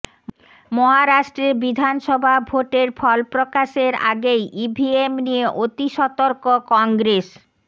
মহারাষ্ট্রে বিধানসভা ভোটের ফলপ্রকাশের আগেই ইভিএম নিয়ে অতিসতর্ক কংগ্রেস